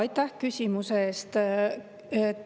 Aitäh küsimuse eest!